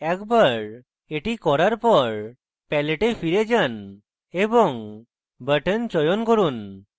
একবার এটি করার পর palette a ফেরৎ যান এবং button চয়ন করুন